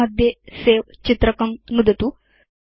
toolbar मध्ये सवे चित्रकं नुदतु